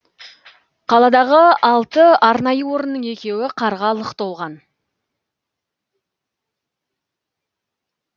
қаладағы алты арнайы орынның екеуі қарға лық толған